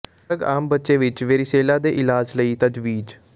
drug ਆਮ ਬੱਚੇ ਵਿਚ ਵੇਰੀਸੇਲਾ ਦੇ ਇਲਾਜ ਲਈ ਤਜਵੀਜ਼